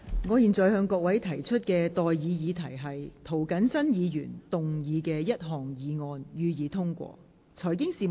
我現在向各位提出的待議議題是：涂謹申議員動議的第一項議案，予以通過。